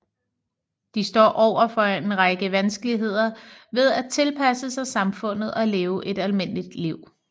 De står over for en række vanskeligheder ved at tilpasse sig samfundet og leve et almindeligt liv